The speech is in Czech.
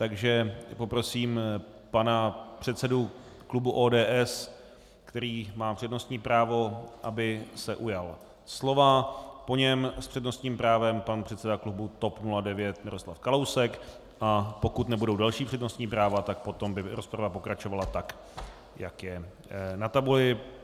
Takže poprosím pana předsedu klubu ODS, který má přednostní právo, aby se ujal slova, po něm s přednostním právem pan předseda klubu TOP 09 Miroslav Kalousek, a pokud nebudou další přednostní práva, tak potom by rozprava pokračovala tak, jak je na tabuli.